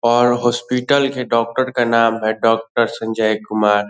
और हॉस्पिटल के डॉक्टर का नाम है डॉक्टर संजय कुमार।